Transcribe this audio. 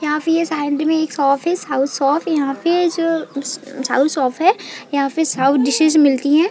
यहाँ पे साइड में एक शॉप है साउथ शॉप यहाँ पे जो साउथ शॉप है यहाँ साउथ डिशेस मिलती है।